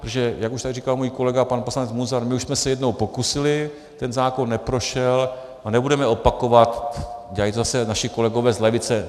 Protože jak už tady říkal můj kolega pan poslanec Munzar, my už jsme se jednou pokusili, ten zákon neprošel a nebudeme opakovat, dělají to zase naši kolegové z levice.